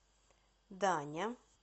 даня